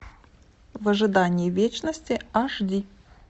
в ожидании вечности аш ди